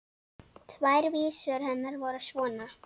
Tvær vísur hennar voru svona: